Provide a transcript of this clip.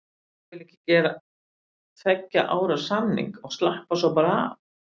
Ég vil ekki gera tveggja ára samning og slappa svo bara af.